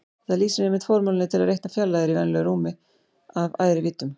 Þetta lýsir einmitt formúlunni til að reikna fjarlægðir í venjulegu rúmi af æðri víddum.